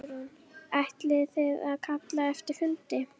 Hugrún: Ætlið þið að kalla eftir fundi?